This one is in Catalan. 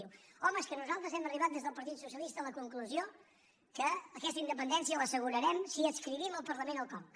diu home és que nosaltres hem arribat des del partit socialista a la conclusió que aquesta independència l’assegurarem si adscrivim al parlament el conca